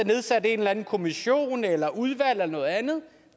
nedsat en eller anden kommission eller et udvalg eller noget andet